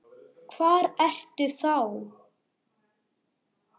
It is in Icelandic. Hvar ertu þá?